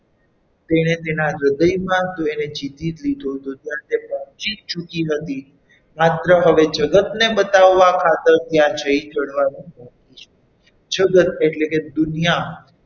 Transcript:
તેને તેના હૃદયમાં તો જીતે જ લીધો હતો ત્યાં પહોંચી જ ચૂકી હતી માત્ર હવે જગતને બતાવવા ખાતર ત્યાં જઈ ચઢવાનું મૂક્યું છે જગત એટલે કે દુનિયા,